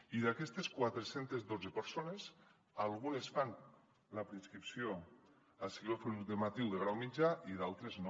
i d’aquestes quatre cents i dotze persones algunes fan la preinscripció a cicles formatius de grau mitjà i d’altres no